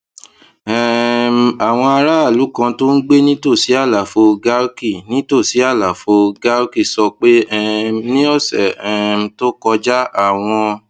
um àwọn aráàlú kan tó ń gbé nítòsí àlàfo garki nítòsí àlàfo garki sọ pé um ní òsè um tó kọjá àwọn